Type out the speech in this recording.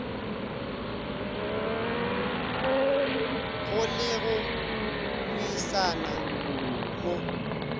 go le go buisana mo